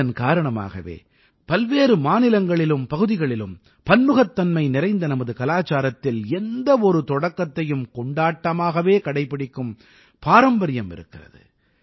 இதன் காரணமாகவே பல்வேறு மாநிலங்களிலும் பகுதிகளும் பன்முகத்தன்மை நிறைந்த நமது கலாச்சாரத்தில் எந்த ஒரு தொடக்கத்தையும் கொண்டாட்டமாகவே கடைப்பிடிக்கும் பாரம்பரியம் இருக்கிறது